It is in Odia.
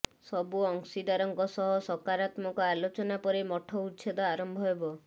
ସବୁ ଅଂଶୀଦାରଙ୍କ ସହ ସକାରାତ୍ମକ ଆଲୋଚନା ପରେ ମଠ ଉଚ୍ଛେଦ ଆରମ୍ଭ ହେବ